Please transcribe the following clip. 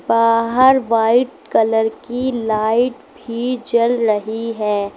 बाहर white colour की light भी जल रही है।